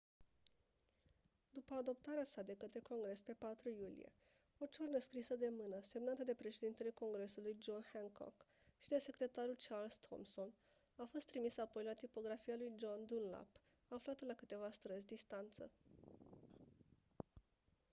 după adoptarea sa de către congres pe 4 iulie o ciornă scrisă de mână semnată de președintele congresului john hancock și de secretarul charles thomson a fost trimisă apoi la tipografia lui john dunlap aflată la câteva străzi distanță